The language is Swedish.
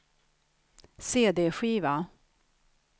cd-skiva